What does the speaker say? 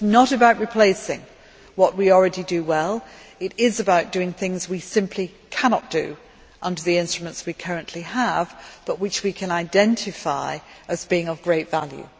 So it is not about replacing what we already do well, it is about doing things we simply cannot do under the instruments we currently have, but which we can identify as being of great value.